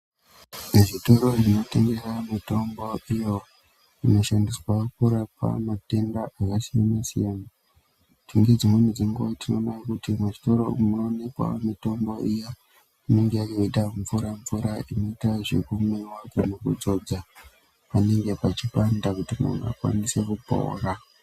Zvitoro zvinotengesa mitombo iyo inoshandiswa kurapa matenda akasiyana-siyana. Ngedzimweni dzenguva tinoona kuti muzvitoro umu munoonekwawo mitombo iya inenge yakaite mura-mvura inoita zvekumwiwa kana kudzodza panenge pachipanda kuti munhu akwanise kupora.